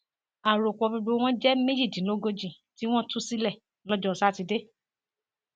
àròpọ gbogbo wọn jẹ méjìdínlógójì tí wọn tú sílẹ lọjọ sátidé